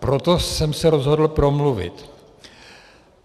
Proto jsem se rozhodl promluvit.